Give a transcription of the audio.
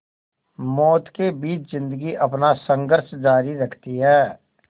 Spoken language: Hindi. मौत के बीच ज़िंदगी अपना संघर्ष जारी रखती है